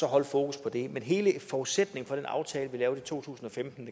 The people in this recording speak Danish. at holde fokus på det men hele forudsætningen for den aftale vi lavede i to tusind og femten